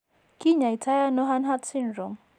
Kinyaitano Hanhart syndrome?